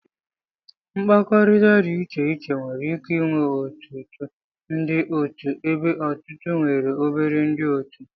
Mkpakọrịta dị iche iche nwere ike ịnwe ọtụtụ ndị otu ebe ọtụtụ nwere obere ndị otu